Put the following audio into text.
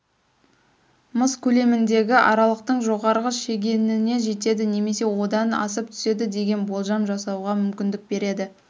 мыс көлеміндегі аралықтың жоғарғы шегеніне жетеді немесе одан асып түседі деген болжам жасауға мүмкіндік береді